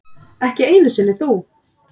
Ekki einu sinni þú.